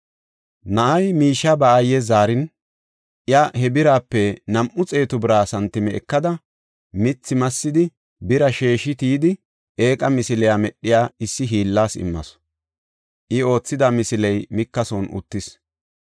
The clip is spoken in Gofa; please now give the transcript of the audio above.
Na7ay miishiya ba aayes zaarin, iya he birape nam7u xeetu bira santime ekada, mithi massidi, bira sheeshi tiyidi, eeqa misile medhiya, issi hiillas immasu. I oothida misiley Mika son uttis.